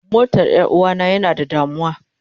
Motar Yaruwa na yana da damuwa.